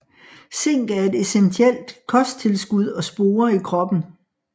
Zink er et essentielt kosttilskud og spore i kroppen